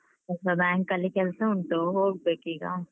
ಸ್ವಲ್ಪ bank ಅಲ್ಲಿ ಕೆಲ್ಸ ಉಂಟು, ಹೋಗ್ಬೇಕೀಗ.